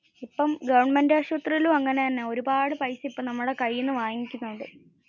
ഇപ്പോ ഗവണ്മെന്റ് ആശുപ്ത്രിയിലും അങ്ങനെ തന്നെ. ഒരുപാടു പൈസ ഇപ്പോ നമ്മുടെ കൈയിൽ നിന്ന് മേടിക്കുന്നുണ്ട്